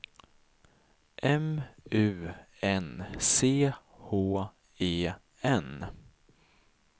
M U N C H E N